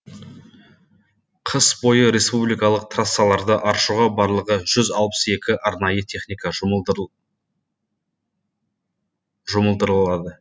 қыс бойы республикалық трассаларды аршуға барлығы жүз алпыс екі арнайы техника жұмылдырылады